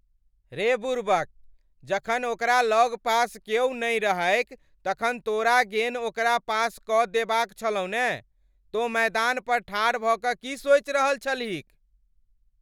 रे बुड़बक। जखन ओकरा लगपास क्यौ नहि रहैक तखन तोरा गेन ओकरा पास कऽ देबाक छलहु ने। तों मैदान पर ठाढ़ भऽ कऽ की सोचि रहल छलहिक?